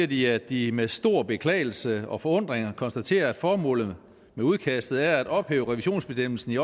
de at de med stor beklagelse og forundring har konstateret at formålet med udkastet er at ophæve revisionsbestemmelsen i